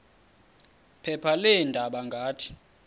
phepha leendaba ngathi